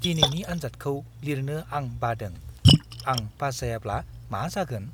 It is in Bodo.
दिनैनि आनजादखौ लिरनो आं बादों। आं पास जायाब्ला मा जागोन?